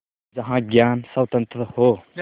जहाँ ज्ञान स्वतन्त्र हो